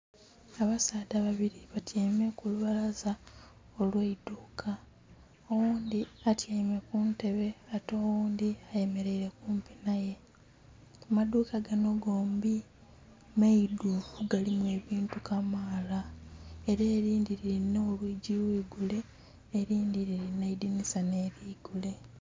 Abasaadha babili batyaime ku lubalaza olw'eidhuka. Oghundhi atyaime ku ntebe ate oghundhi ayemeleile kumpi naye. Amaduuka gano gombi maidhuvu galimu ebintu kamaala. Ela elindhi lilina olwigi lwilugule ,elindhi lilina eidhinisa nh'eligule.